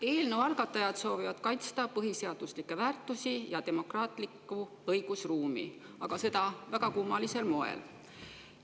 Eelnõu algatajad soovivad kaitsta põhiseaduslikke väärtusi ja demokraatlikku õigusruumi, aga seda väga kummalisel moel.